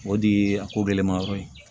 O de ye a ko gɛlɛnmanyɔrɔ ye